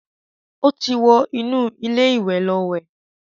Ó ti wọ inú ilé ìwẹ̀ lọ wẹ̀.